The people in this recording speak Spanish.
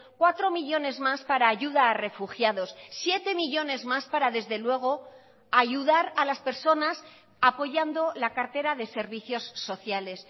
cuatro millónes más para ayuda a refugiados siete millónes más para desde luego ayudar a las personas apoyando la cartera de servicios sociales